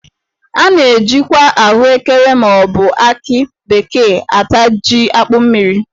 A na- ejikwa ahụekere ma ọ bụ akị bekee ata jí akpụ mmiri.